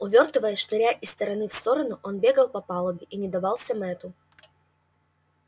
увёртываясь шныряя из стороны в сторону он бегал по палубе и не давался мэтту